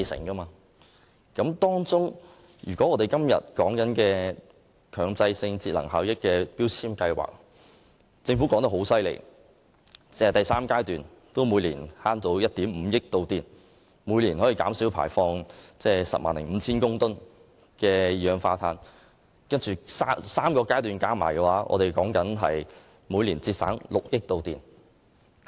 本會今天討論的第三階段強制性標籤計劃，政府指單是這個階段每年可節省1億 5,000 萬度電，並減少排放 105,000 公噸二氧化碳 ；3 個階段加起來，每年可節省6億度電。